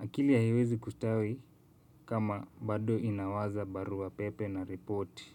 Akili haiwezi kustawi kama bado inawaza barua pepe na reporti.